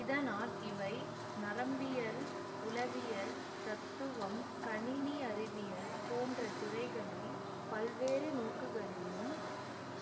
இதனால் இவை நரம்பியல் உளவியல் தத்துவம் கணினி அறிவியல் போன்ற துறைகளில் பல்வேறு நோக்குகளிலும்